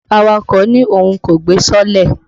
Awakọ̀ ní Òun kò gbé sọọ́lẹ̀.